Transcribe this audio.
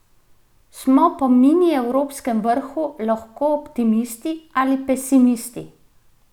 Smo po mini evropskem vrhu lahko optimisti ali pesimisti?